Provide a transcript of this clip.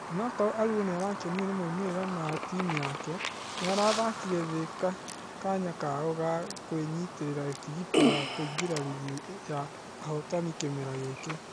Onũkorwo aluor nĩarakenirio na maumerera ma timũ yake , nĩarathakĩre thĩ kanya kao ga kwĩnyitera tigiti wa kũingĩra rigi ya ahotani kĩmera gĩkĩ.